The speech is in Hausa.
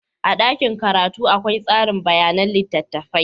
A dakin karatu akwai tsari bayanan littattafai.